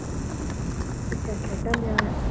ਅੱਛਾ ਖੇਡਣ ਡਿਆ ਹੋਇਆ।